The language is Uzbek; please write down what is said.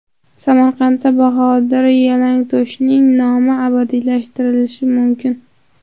Samarqandda Bahodir Yalangto‘shning nomi abadiylashtirilishi mumkin.